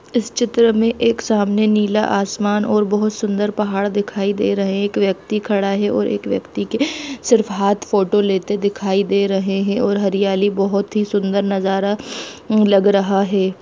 इस चित्र मे एक सामने नीला आसमान और बहुत सुन्दर पहाड़ दिखाई दे रहे है एक व्यक्ति खड़ा है और एक व्यक्ति के सिर्फ हाथ फोटो लेते दिखाई दे रहे है और हरियाली बहुत ही सुंदर नज़ारा लग रहा है।